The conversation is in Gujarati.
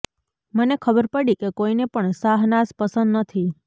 મને ખબર પડી કે કોઈને પણ શહનાઝ પસંદ નથી